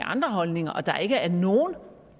andre holdninger og at der ikke er nogen